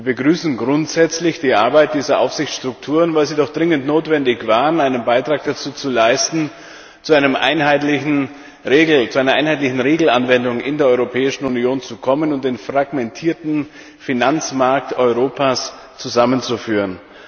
Wir begrüßen grundsätzlich die Arbeit dieser Aufsichtsstrukturen, weil sie doch dringend notwendig waren, um einen Beitrag dazu zu leisten, zu einer einheitlichen Regelanwendung in der Europäischen Union zu kommen und den fragmentierten Finanzmarkt Europas zusammenzuführen.